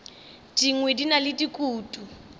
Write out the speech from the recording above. dingwe di na le dikutu